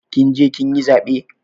Kin je kin yi zaɓe?